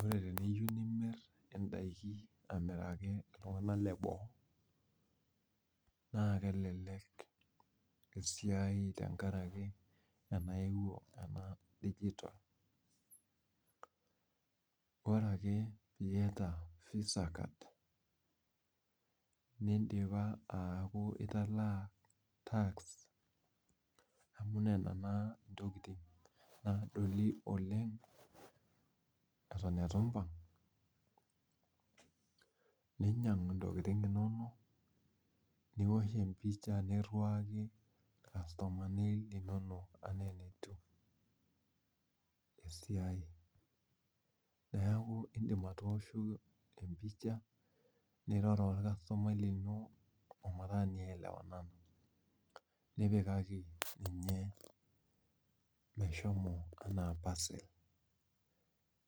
Ore teniyieu nimir indaiki amiraki iltung'anak leboo naa kelelek esiai tenkaraki enaeuo ena digital ore ake piata visa card nindipa ataa task amu nena naa intokitin naagoli Oleng eto eitu iiimbang ninyiang intokitin inonok niwosh empisha niriwaki irkasomani linonok enaa enatiy esiai neeku indiim atooshoki empisha niroro orkasutumai lino ompaka nielewanana nipikaki ninye meshomo enaa parcel